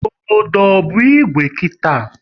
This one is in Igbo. Obodo ọ bụ Igwe kita?